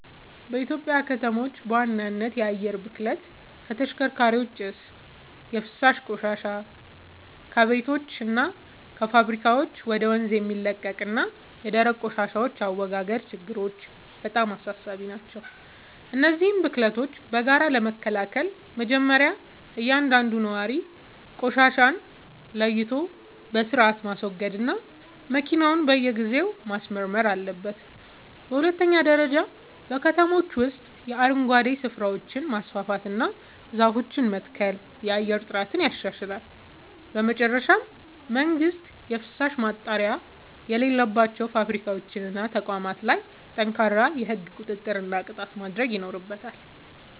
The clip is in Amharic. በኢትዮጵያ ከተሞች በዋናነት የአየር ብክለት (ከተሽከርካሪዎች ጭስ)፣ የፍሳሽ ቆሻሻ (ከቤቶችና ከፋብሪካዎች ወደ ወንዝ የሚለቀቅ) እና የደረቅ ቆሻሻ አወጋገድ ችግሮች በጣም አሳሳቢ ናቸው። እነዚህን ብክለቶች በጋራ ለመከላከል መጀመርያ እያንዳንዱ ነዋሪ ቆሻሻን ለይቶ በሥርዓት ማስወገድና መኪናውን በየጊዜው ማስመርመር አለበት። በሁለተኛ ደረጃ በከተሞች ውስጥ የአረንጓዴ ስፍራዎችን ማስፋፋትና ዛፎችን መትከል የአየር ጥራትን ያሻሽላል። በመጨረሻም መንግሥት የፍሳሽ ማጣሪያ በሌላቸው ፋብሪካዎችና ተቋማት ላይ ጠንካራ የሕግ ቁጥጥርና ቅጣት ማድረግ ይኖርበታል።